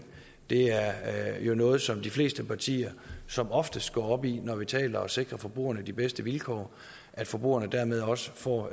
det er jo noget som de fleste partier som oftest går op i når vi taler om at sikre forbrugerne de bedste vilkår at forbrugerne dermed også får